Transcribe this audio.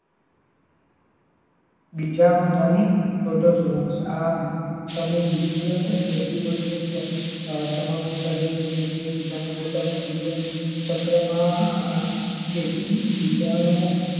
બીજાણુ ધરી protozoans આ સમૂહ વિવિધ સજીવન નો સમાવેશ કરે છે જે કે બીજ ને પોતા નું જીવનચક્ર માં આ ચેપી બીજાણુઓ